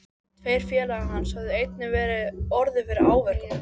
Tveir félagar hans höfðu einnig orðið fyrir áverkum.